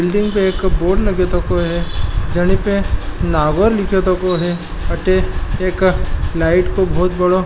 बिल्डिंग पे एक बोर्ड लगे तको है जाली पे नावर लिख्या तको है अठे एक लाइट को बहुत बड़ो --